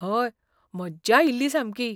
हय! मज्जा आयिल्ली सामकी.